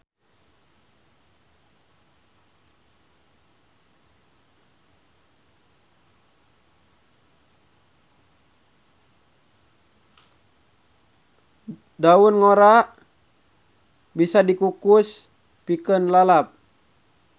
Daun ngora bisa dikukus pikeun lalap.